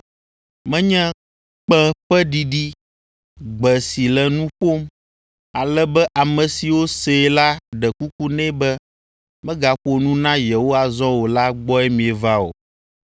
Menye kpẽ ƒe ɖiɖi, gbe si le nu ƒom, ale be ame siwo see la ɖe kuku nɛ be megaƒo nu na yewo azɔ o la gbɔe mieva o;